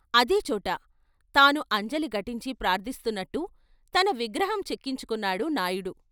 అదే చోట తాను అంజలి ఘటించి ప్రార్థిస్తున్నట్టు తన విగ్రహం చెక్కించుకున్నాడు నాయుడు.